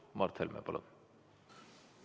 Mart Helme, palun!